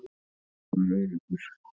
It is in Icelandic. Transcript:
Ég var öruggur.